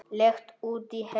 Leigt út í heild?